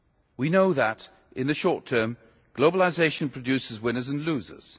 We know that, in the short term, globalisation produces winners and losers.